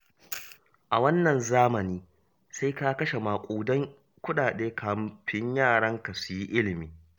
A wannan zamani, sai ka kashe maƙudan kuɗaɗe kafin yaranka su yi ilimi